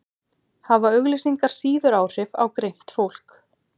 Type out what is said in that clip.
hafa auglýsingar síður áhrif á greint fólk